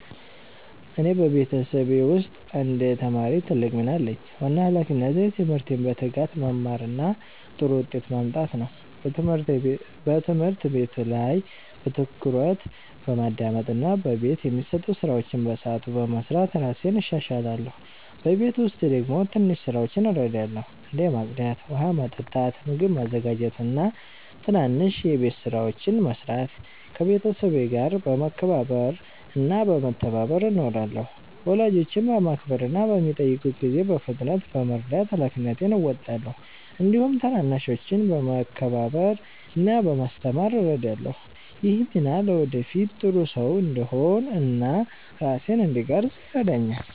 እኔ በቤተሰቤ ውስጥ እንደ ተማሪ ትልቅ ሚና አለኝ። ዋና ሃላፊነቴ ትምህርቴን በትጋት መማር እና ጥሩ ውጤት ማምጣት ነው። በትምህርት ቤት ላይ በትኩረት በማዳመጥ እና በቤት የሚሰጡ ስራዎችን በሰዓቱ በመስራት እራሴን እሻሻላለሁ። በቤት ውስጥ ደግሞ ትንሽ ስራዎችን እረዳለሁ፣ እንደ ማጽዳት፣ ውሃ ማመጣት፣ ምግብ ማዘጋጀት እና ትናንሽ የቤት ስራዎችን መስራት። ከቤተሰቤ ጋር በመከባበር እና በመተባበር እኖራለሁ። ወላጆቼን በማክበር እና በሚጠይቁት ጊዜ በፍጥነት በመርዳት ሃላፊነቴን እወጣለሁ። እንዲሁም ታናናሾችን በመከባበር እና በማስተማር እረዳለሁ። ይህ ሚና ለወደፊት ጥሩ ሰው እንድሆን እና ራሴን እንድቀርፅ ይረዳኛል።